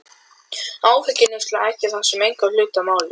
Hófdrykkjan er heldur flá, henni er valt að þjóna.